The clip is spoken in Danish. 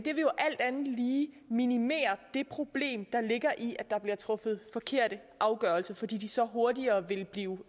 jo alt andet lige minimere det problem der ligger i at der bliver truffet forkerte afgørelser fordi de så hurtigere vil blive